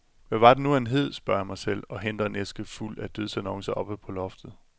Hvad var det nu han hed, spørger jeg mig selv og henter en æske fuld af dødsannoncer oppe på loftet.